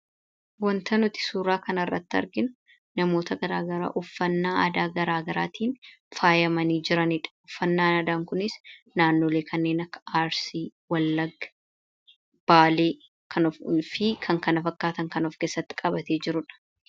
Wanta nuti suuraa kana irratti arginu namoota garaagaraa uffannaa aadaa garaa garaatiin faayyamanii jiraniidha. Uffannaan aadaa kunis naannolee kanneen akka Arsii, Wallagaa, Baalee, kanaa fi kan kana fakkaatan kan of keessatti qabatee jirudha.